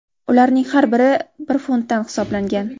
Ularning har biri bir funtdan hisoblangan.